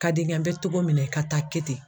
Ka di n ye n bɛ togo min na i ka taa kɛ ten.